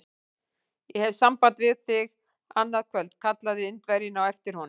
Ég hef samband við þig annað kvöld! kallaði Indverjinn á eftir honum.